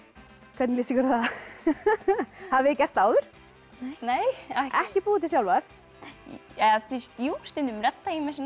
hvernig líst ykkur á það hafið þið gert það áður nei ekki búið til sjálfar jú stundum redda ég mér